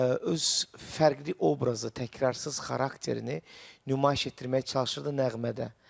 Öz fərqli obrazını, təkrarsız xarakterini nümayiş etdirməyə çalışırdı nəğmədə.